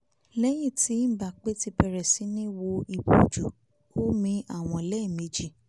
lẹ́yìn tí mbappe ti bẹ̀rẹ̀ sí ní wo ìbòjú ó mi àwọn lẹ́ẹ̀ méjì